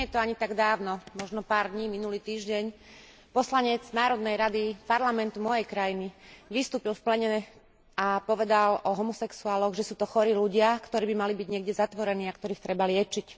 Nie je to ani tak dávno, možno pár dní minulý týždeň, poslanec národnej rady parlamentu mojej krajiny vystúpil v pléne a povedal o homosexuáloch, že sú to chorí ľudia, ktorí by mali byť niekde zatvorení a ktorých treba liečiť.